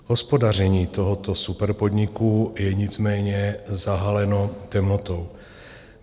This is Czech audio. Hospodaření tohoto superpodniku je nicméně zahaleno temnotou.